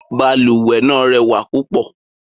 Balùwẹ̀ náà rẹwà púpọ̀.